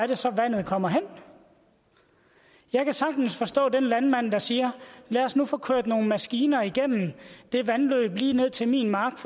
det så er vandet kommer hen jeg kan sagtens forstå den landmand der siger lad os nu få kørt nogle maskiner igennem det vandløb lige ned til min mark